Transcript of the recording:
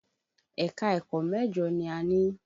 Ẹ̀ka-ẹ̀kọ́ mẹ́jọ ni a ní.